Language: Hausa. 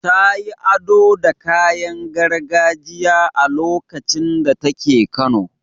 Ta yi ado da kayan gargajiya a lokacin da take kano.